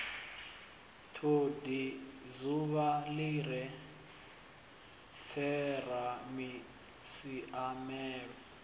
todi dzuvha li re tseramisiamelo